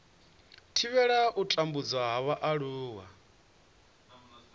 thivhela u tambudzwa ha vhaaluwa